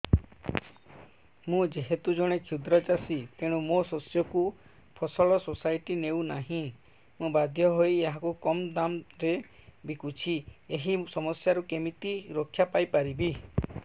ମୁଁ ଯେହେତୁ ଜଣେ କ୍ଷୁଦ୍ର ଚାଷୀ ତେଣୁ ମୋ ଶସ୍ୟକୁ ଫସଲ ସୋସାଇଟି ନେଉ ନାହିଁ ମୁ ବାଧ୍ୟ ହୋଇ ଏହାକୁ କମ୍ ଦାମ୍ ରେ ବିକୁଛି ଏହି ସମସ୍ୟାରୁ କେମିତି ରକ୍ଷାପାଇ ପାରିବି